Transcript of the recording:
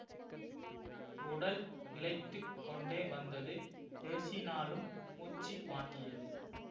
உடல் இளைத்துக் கொண்டே வந்தது பேசினாலும் மூச்சு வாங்கியது